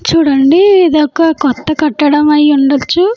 చూడండి ఇది ఒక కొత్త కట్టడం అయి ఉండొచ్చు.